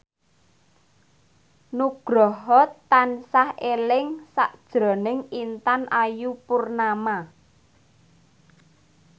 Nugroho tansah eling sakjroning Intan Ayu Purnama